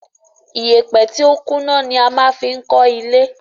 Iyèpè tí o kún ná ni a maá fi n kọ́ ilé